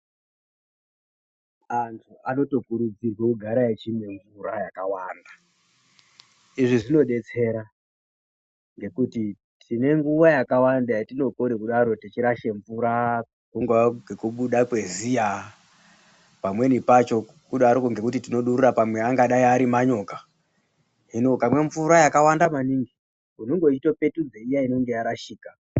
Antu anotokuridzirwe kuti arambe eimwe mvura yakawanda. Izvi zvinodetsera ngekuti tine nguwa yakawanda yatinokone kudaro teirashe mvura, imweni nguwa ngechifundi chemene, imweni nguwa manyoka, hino ukamwe mvura yakawanda maningi, unenge weitopetudza iya inenge yarashika.